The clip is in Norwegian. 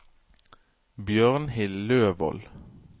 Bjørnhild Løvold